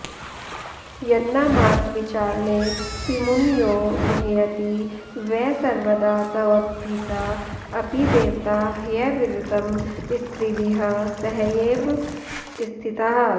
यन्नामार्थविचारणेपिमुनयो मुह्यति वै सर्वदा त्वद्भीता अपि देवता ह्यविरतं स्त्रीभिः सहैव स्थिताः